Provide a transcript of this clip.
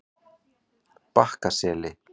Bakkaseli